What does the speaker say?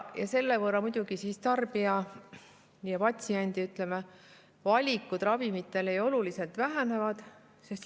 Ja selle võrra muidugi patsientide ja muude tarbijate, ütleme, ravimivalikud oluliselt vähenevad.